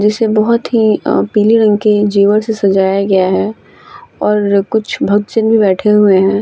जिसे बहोत ही अअ पिले रंग की जेवर से सजाया गया है और कुछ भक्त जन भी बैठे हुए हैं।